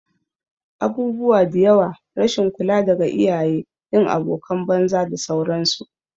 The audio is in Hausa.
Abubuwa diyawa, rashin kula daga iyaye, yin abokanan banza da sauran su